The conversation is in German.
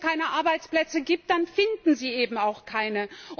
Wenn es keine Arbeitsplätze gibt, dann finden sie eben auch keine.